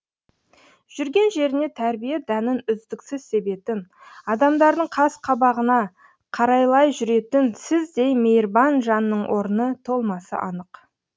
жүрген жеріне тәрбие дәнін үздіксіз себетін адамдардың қас қабағына қарайлай жүретін сіздей мейірбан жанның орны толмасы анық